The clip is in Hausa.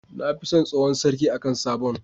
Nafi son tsohon sarki akan sabon